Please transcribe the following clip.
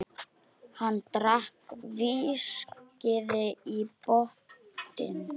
Hann drakk viskíið í botn.